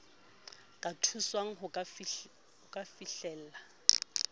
ka thuswang ho ka fihlella